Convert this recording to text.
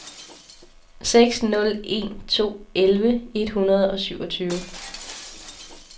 seks nul en to elleve et hundrede og syvogtyve